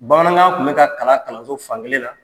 Bamanankan tun bɛ ka kalan kalanso fankelen na.